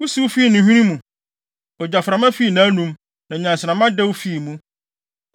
Wusiw fii ne hwene mu; ogyaframa fii nʼanom; na nnyansramma dɛw fii mu.